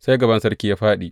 Sai gaban sarki ya faɗi.